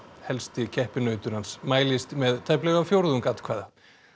helsti keppinautur hans mælist með tæplega fjórðung atkvæða